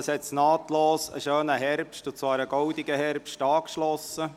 Ich glaube, auf diesen ist nahtlos ein schöner, goldener Herbst gefolgt.